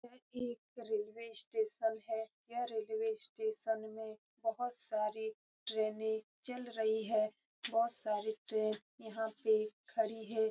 यह एक railway station है। यह रेलवे स्टेशन में बहुत सारी ट्रेने चल रही है बहुत सारी ट्रेन यहाँ पे खड़ी है।